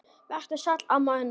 Vertu sæl, amma Unnur.